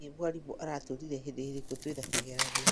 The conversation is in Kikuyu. Hihi mwarimũ aratwĩrĩre hĩndĩ ĩrĩku twĩna kĩgeranio